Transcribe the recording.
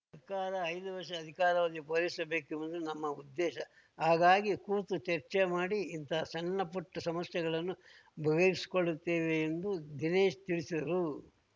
ಸರ್ಕಾರ ಐದು ವರ್ಷ ಅಧಿಕಾರಾವಧಿ ಪೂರೈಸಬೇಕೆಂಬುದು ನಮ್ಮ ಉದ್ದೇಶ ಹಾಗಾಗಿ ಕೂತು ಚರ್ಚೆ ಮಾಡಿ ಇಂತಹ ಸಣ್ಣ ಪುಟ್ಟಸಮಸ್ಯೆಗಳನ್ನು ಬಗೆಹರಿಸಿಕೊಳ್ಳುತ್ತೇವೆ ಎಂದು ದಿನೇಶ್‌ ತಿಳಿಸಿದರು